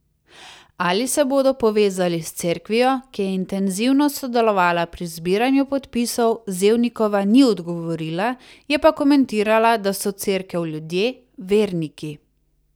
Ali se bodo povezali s Cerkvijo, ki je intenzivno sodelovala pri zbiranju podpisov, Zevnikova ni odgovorila, je pa komentirala, da so Cerkev ljudje, verniki.